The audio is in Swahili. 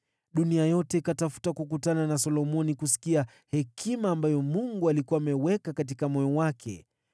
Wafalme wote wa dunia wakatafuta kukutana na Solomoni ili kusikia hekima ambayo Mungu alikuwa ameiweka katika moyo wake.